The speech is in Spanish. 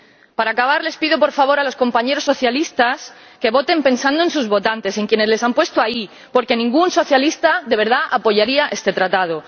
Para acabar les pido, por favor, a los compañeros socialistas que voten pensando en sus votantes, en quienes los han puesto ahí, porque ningún socialista de verdad apoyaría este tratado.